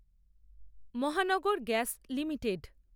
Mahanagar gas limited